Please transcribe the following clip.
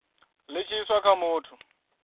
li tshi iswa kha muthu